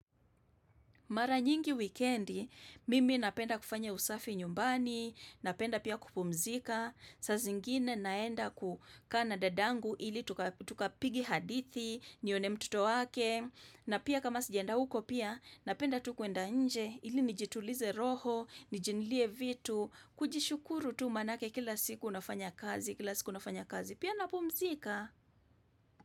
Mara nyingi wikendi, mimi napenda kufanya usafi nyumbani, napenda pia kupumzika, sa zingine naenda ku kaa na dadangu ili tukapige hadithi, nione mtoto wake, na pia kama sijaenda uko pia, napenda tu kuenda nje ili nijitulize roho, nijinulie vitu, kujishukuru tu manake kila siku unafanya kazi, kila siku unafanya kazi, pia napumzika.